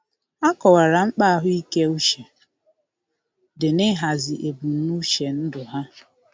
Ha kọwara mkpa ahụike uche di n'ihazi ebumnuche ndụ ha.